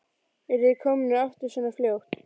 Eruð þið komnir aftur svona fljótt?